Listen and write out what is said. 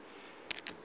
gore o be a tla